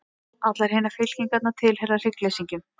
Allar hinar fylkingarnar tilheyra hryggleysingjum.